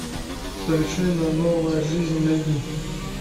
совершенно новая жизнь найди